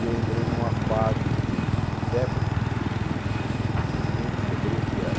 E eu entrei numa fase de de febre que ninguém descobriu o que era.